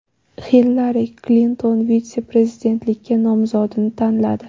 Hillari Klinton vitse-prezidentlikka nomzodni tanladi.